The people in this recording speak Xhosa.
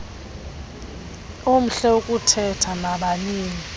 omhle ukuthetha nabanini